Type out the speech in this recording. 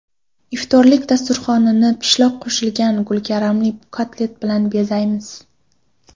Iftorlik dasturxonini pishloq qo‘shilgan gulkaramli kotlet bilan bezaymiz.